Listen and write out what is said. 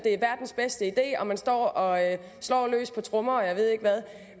er verdens bedste idé og man står og slår løs på trommer og jeg ved ikke hvad